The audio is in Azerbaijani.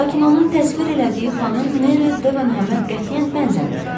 Lakin onun təsvir elədiyi xanım Meri Debenhemə qətiyyən bənzəmirdi.